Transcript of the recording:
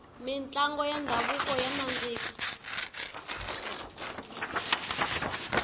mintlango ya ndhavuko ya nandzika